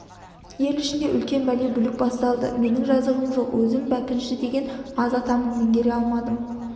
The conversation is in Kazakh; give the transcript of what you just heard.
ел ішінде үлкен бәле бүлік басталды менің жазығым жоқ өзім бәкенші деген аз атамын меңгере алмадым